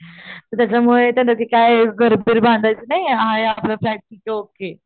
त्याच्यामुळे त्यांना काय परत परत भांडायचं नाही आहे असा फ्लॅट कि ओके,